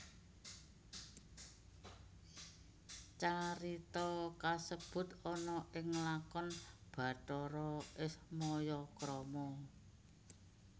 Carita kasebut ana ing lakon Bathara Ismaya krama